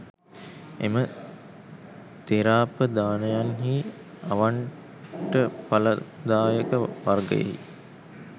එම ථෙරාපදානයන්හි අවණ්ටඵලදායක වර්ගයෙහි